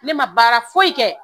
Ne ma baara foyi kɛ